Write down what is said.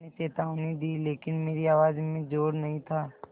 मैंने चेतावनी दी लेकिन मेरी आवाज़ में ज़ोर नहीं था